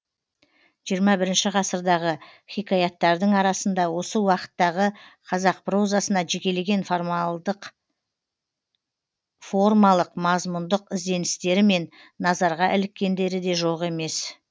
жиырма бірінші ғасырдағы хикаяттардың арасында осы уақыттағы қазақ прозасына жекелеген формалық мазмұндық ізденістерімен назарға іліккендері де жоқ емес